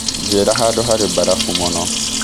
njĩira handũ harĩ na barambũ mũno